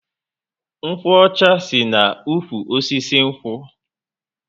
Nkwo ọcha si na ụkwụ osisi nkwu